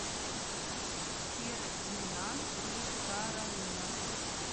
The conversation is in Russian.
фердинанд и каролина